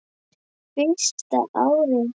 Fyrsta árið.